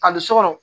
A bɛ sokɔnɔ